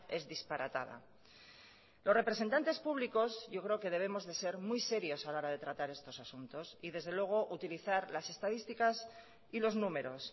es disparatada los representantes públicos yo creo que debemos de ser muy serios a la hora de tratar estos asuntos y desde luego utilizar las estadísticas y los números